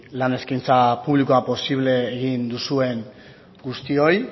lan eskaintza publikoa posible egin duzuen guztioi